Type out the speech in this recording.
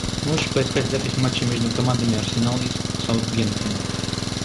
можешь поискать запись матча между командами арсенал и саутгемптон